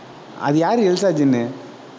அது யாரு? எல்தாஜின்னு?